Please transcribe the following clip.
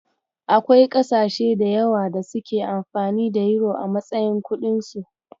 Akwai ƙasashe da yawa da suke amfani da yuro a matsayin kuɗinsu.